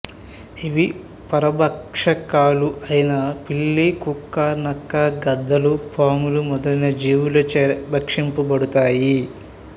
ఇవి పరభక్షకాలు అయిన పిల్లి కుక్క నక్క గద్దలు పాములు మొదలైన జీవులచే భక్షించబడతాయి